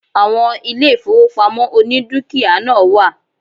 Àwon ilé ìfowópamọ́ oní dúkìá náà wà